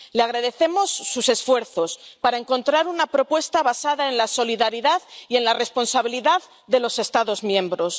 Le agradecemos sus esfuerzos para encontrar una propuesta basada en la solidaridad y en la responsabilidad de los Estados miembros.